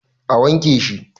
A wanke shi